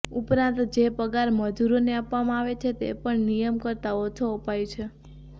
ઉપરાંત જે પગાર મજૂરો ને આપવામાં આવે છે તે પણ નિયમ કરતાં ઓછો અપાઈ છે